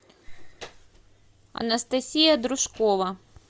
анастасия дружкова